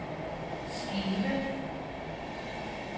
skive